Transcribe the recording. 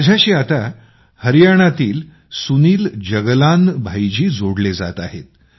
माझ्याशी आता हरियाणातील सुनील जगलाल भाईजी जोडले जात आहेत